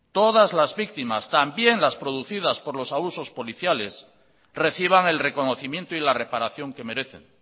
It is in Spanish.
todas las víctimas también las producidas por los abusos policiales reciban el reconocimiento y la reparación que merecen